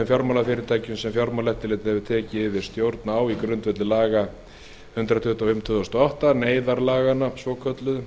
fjármálafyrirtækjum sem fjármálaeftirlitið hefur tekið yfir stjórn í á grundvelli laga númer hundrað tuttugu og fimm tvö þúsund og átta eða neyðarlaganna svokölluðu